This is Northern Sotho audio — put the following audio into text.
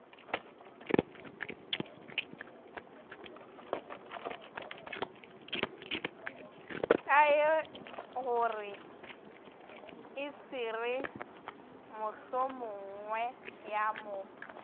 kaegore e se re mohlomongweyamo